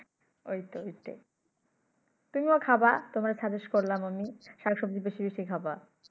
ঐ তো ওইটাই তুমিও খাবা তোমাকে suggest করলাম আমি শাক সব্জি বেশি বেশি খাবা।